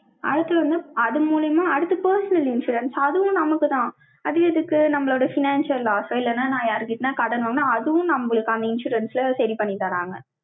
அடுத்து வந்து, அது மூலியமா, அடுத்து, personal insurance அதுவும் நமக்குதான். அது எதுக்கு, நம்மளோட financial loss ஓ, இல்லைன்னா, நான் யார்கிட்டயாவது கட்டணும்ன்னா, அதுவும் நம்மளுக்கு, அந்த insurance ல, சரி பண்ணி தர்றாங்க.